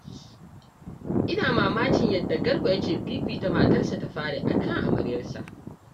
Ina mamakin yadda Garba yake fifita matarsa ta fari a kan amaryarsa